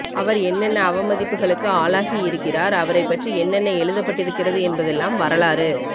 அவர் என்னென்ன அவமதிப்புகளுக்கு ஆளாகியிருக்கிறார் அவரைப்பற்றி என்னென்ன எழுதப்பட்டிருக்கிறது என்பதெல்லாம் வரலாறு